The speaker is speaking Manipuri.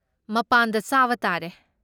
ꯃꯄꯥꯟꯗ ꯆꯥꯕ ꯇꯥꯔꯦ꯫